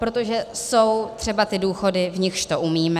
Protože jsou třeba ty důchody, u nichž to umíme.